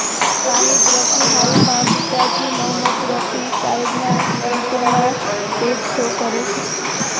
શાહિદ રફી હાલમાં પિતાજી મોહમ્મદ રફી સાહેબના ગીતોના સ્ટેજ શો કરે છે